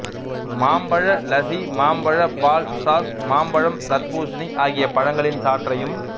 மாம்பழ லஸ்ஸி மாம்பழப் பால் சாஸ் மாம்பழம் தர்பூசணி ஆகிய பழங்களின் சாற்றையும்